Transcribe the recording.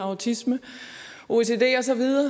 autisme ocd